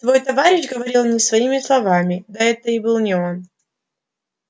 твой товарищ говорил не своими словами да это и был не он